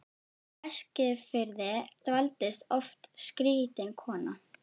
Á Eskifirði dvaldist oft skrýtin kona.